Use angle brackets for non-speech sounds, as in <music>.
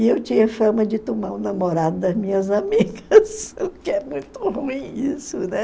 E eu tinha fama de tomar o namorado das minhas <laughs> amigas, o que é muito ruim isso, né?